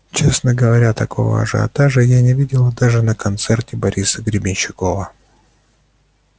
честно говоря такого ажиотажа я не видела даже на концерте бориса гребенщикова